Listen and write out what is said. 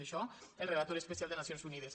això el relator especial de nacions unides